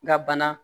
N ka bana